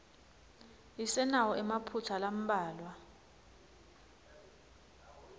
isenawo emaphutsa lambalwa